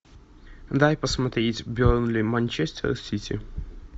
дай посмотреть бернли манчестер сити